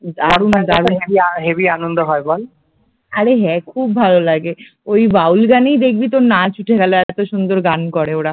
আরে হ্যাঁ খুব ভালো লাগে, ওই বাউলগানেই দেখবি তোর নাচ উঠে গেল এত সুন্দর গান করে ওরা